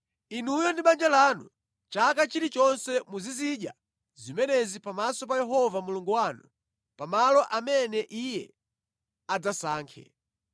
Inuyo ndi banja lanu, chaka chilichonse muzizidya zimenezi pamaso pa Yehova Mulungu wanu pa malo amene Iye adzasankhe.